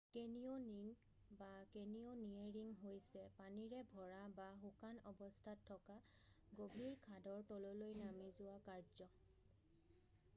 Canyoning বা canyoneering হৈছে পানীৰে ভৰা বা শুকান অৱস্থাত থকা গভীৰ খাদৰ তললৈ নামি যোৱা কাৰ্য।